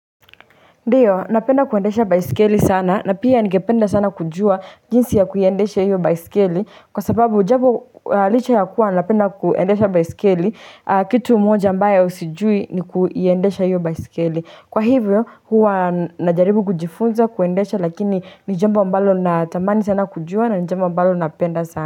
Ndiyo napenda kuendesha baiskeli sana na pia nigependa sana kujua jinsi ya kuiendesha hiyo baiskeli kwa sababu jambo licha ya kuwa napenda kuendesha baiskeli kitu moja ambayo sijui ni kuiendesha hiyo baiskeli kwa hivyo huwa najaribu kujifunza kuendesha lakini ni jambo ambalo natamani sana kujua na ni jambo ambalo napenda sana.